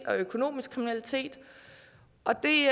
og økonomisk kriminalitet og det